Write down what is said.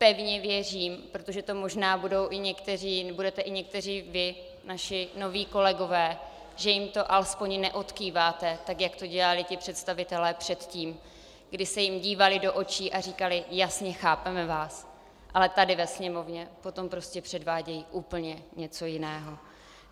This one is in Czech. Pevně věřím, protože to možná budete i někteří vy, naši noví kolegové, že jim to alespoň neodkýváte tak, jak to dělali ti představitelé předtím, kdy se jim dívali do očí a říkali "jasně, chápeme vás", ale tady ve Sněmovně potom prostě předvádějí úplně něco jiného.